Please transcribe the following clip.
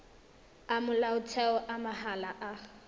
a motheo a mahala a